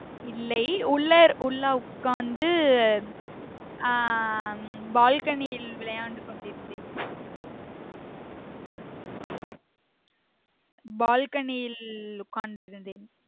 இல்லை உள்ளர் உள்ள உட்கார்ந்து ஆஹ் balcony இல் விளையாண்டு கொண்டிருந்தேன் balcony இல் உட்கார்ந்து இருந்தேன்